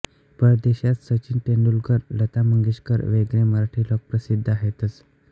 परदेशात सचिन तेंडुलकर लता मंगेशकर वगैरे मराठी लोक प्रसिद्ध आहेतच